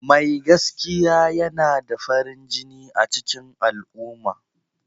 Mai gaskiya yana da farin jini a cikin al'umma.